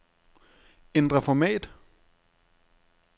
Ændr format.